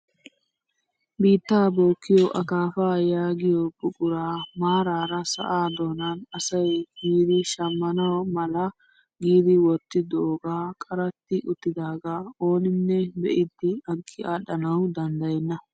Biittaa bookkiyoo akafaa yaagiyoo buquraa maarara sa'aa donan asay yiidi shammana mala giidi wottidogee qaratti uttidagaa ooninne be'idi aggi aadhdhanwu koyenna.